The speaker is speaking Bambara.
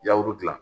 Yawuru dilan